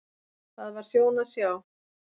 Það var sjón að sjá.